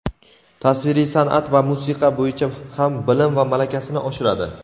tasviriy san’at va musiqa bo‘yicha ham bilim va malakasini oshiradi.